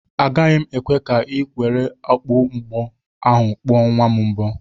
Agaghị m ekwe ka i were okpu mgbo ahụ kpuo nwa m mbo.